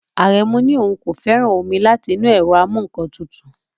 Aremu ní òun kò fẹ́ràn omi láti inú ẹ̀rọ amú-nǹkan-tutù